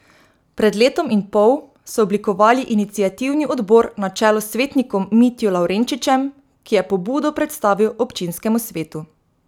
Pred letom in pol so oblikovali iniciativni odbor na čelu s svetnikom Mitjo Lavrenčičem, ki je pobudo predstavil občinskemu svetu.